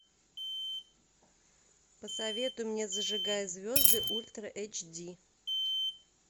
посоветуй мне зажигая звезды ультра эйч ди